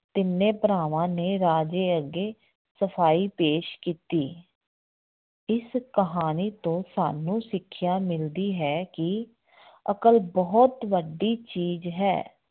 ਤਿੰਨੇ ਭਰਾਵਾਂ ਨੇ ਰਾਜੇ ਅੱਗੇ ਸਫ਼ਾਈ ਪੇਸ਼ ਕੀਤੀ ਇਸ ਕਹਾਣੀ ਤੋਂ ਸਾਨੂੰ ਸਿੱਖਿਆ ਮਿਲਦੀ ਹੈ ਕਿ ਅਕਲ ਬਹੁਤ ਵੱਡੀ ਚੀਜ਼ ਹੈ।